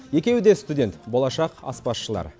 екеуі де студент болашақ аспазшылар